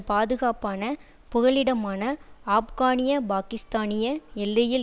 பாதுகாப்பான புகலிடமான ஆப்கானியபாக்கிஸ்தானிய எல்லையில்